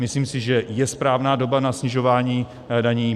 Myslím si, že je správná doba na snižování daní.